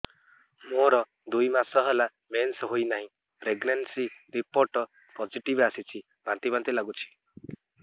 ମୋର ଦୁଇ ମାସ ହେଲା ମେନ୍ସେସ ହୋଇନାହିଁ ପ୍ରେଗନେନସି ରିପୋର୍ଟ ପୋସିଟିଭ ଆସିଛି ବାନ୍ତି ବାନ୍ତି ଲଗୁଛି